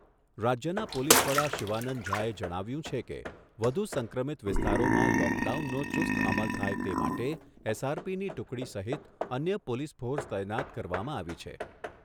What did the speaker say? રાજ્યના પોલીસ વડા શિવાનંદ ઝાએ જણાવ્યુંં છે કે, વધુ સંક્રમિત વિસ્તારોમાં લોકડાઉનનો ચુસ્ત અમલ થાય તે માટે એસઆરપીની ટુકડી સહિત અન્ય પોલીસ ફોર્સ તૈનાત કરવામાં આવી છે.